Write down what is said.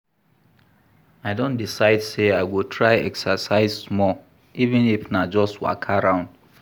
I don decide sey I go try exercise small, even if na just waka round.